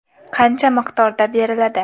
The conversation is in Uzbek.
Qancha miqdorda beriladi?